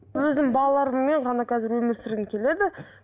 өзім балаларыммен ғана қазір өмір сүргім келеді